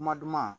Kuma duman